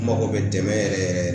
N mago bɛ dɛmɛ yɛrɛ yɛrɛ yɛrɛ